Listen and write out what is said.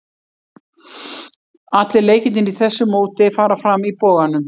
Allir leikirnir í þessu móti fara fram í Boganum.